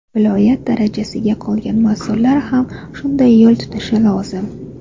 Viloyat darajasidagi qolgan mas’ullar ham shunday yo‘l tutishi lozim.